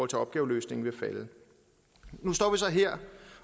til opgaveløsningen nu står vi så her